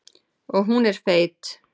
Og hún er feit.